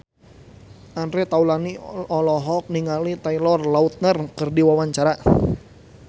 Andre Taulany olohok ningali Taylor Lautner keur diwawancara